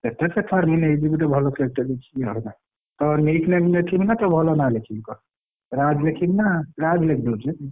କେତେ ସେ ଛାଡ଼େ ମୁଁ ନେଇଯିବି ଗୋଟେ ଭଲ cake ଟେ ଦେଖିକି ଆଉ ହେଲା ତୋ nick name ଲେଖିବି ନା ତୋ ଭଲ ନା ଲେଖିବି କହ? ରାଜ ଲେଖିବୁ ନା ରାଜ ଲେଖିଦଉଛି?